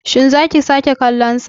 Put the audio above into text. Shin za ki sake kallonsa.